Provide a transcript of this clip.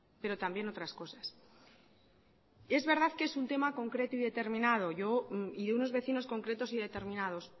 pero también otras cosas es verdad que es un tema concreto y determinado y unos vecinos concretos y determinados